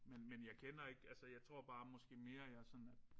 Men men jeg kender ikke altså jeg tror bare måske mere jeg sådan er